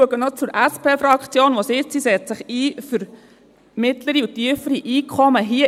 Ich schaue noch zur SP-Fraktion hinüber, die sagt, sie setze sich für mittlere und tiefere Einkommen ein.